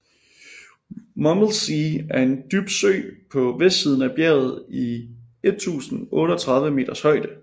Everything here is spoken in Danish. Mummelsee er en dyb sø på vestsiden af bjerget i 1036 meters højde